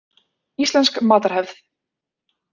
Íslensk matarhefð.